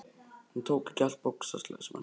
Hún tók ekki allt bókstaflega sem hann sagði.